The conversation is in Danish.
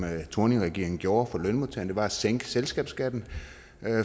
thorningregeringen gjorde for lønmodtagerne var at sænke selskabsskatten